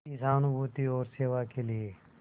की सहानुभूति और सेवा के लिए